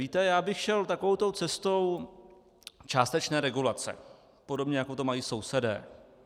Víte, já bych šel takovou tou cestou částečné regulace, podobně jako to mají sousedé.